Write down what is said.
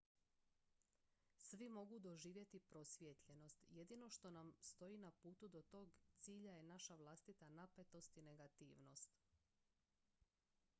svi mogu doživjeti prosvjetljenost jedino što nam stoji na putu do tog cilja je naša vlastita napetost i negativnost